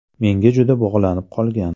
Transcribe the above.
Menga juda bog‘lanib qolgan.